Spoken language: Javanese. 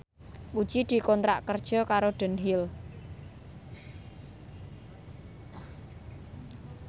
Puji dikontrak kerja karo Dunhill